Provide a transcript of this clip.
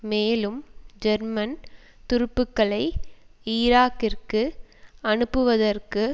மேலும் ஜெர்மன் துருப்புக்களை ஈராக்கிற்கு அனுப்புவதற்கு